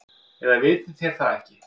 Eða vitið þér það ekki.